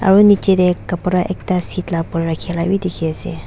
aru niche te kapra ekta seat la opor rakhia bi dikhi ase.